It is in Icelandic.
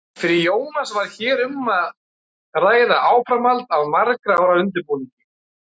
Fyrir Jónas var hér um að ræða áframhald af margra ára undirbúningi.